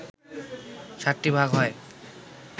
সাতটি ভাগ হয়